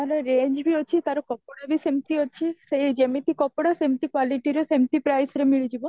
ତାର range ବି ଅଛି, ତାର କପଡ଼ା ବି ସେମିତି ଅଛି ସେଠି ଯେମିତି କପଡ଼ା ସେମିତି quality ରେ ସେମିତି price ରେ ମିଳିଯିବ